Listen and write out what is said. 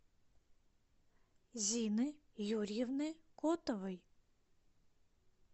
зины юрьевны котовой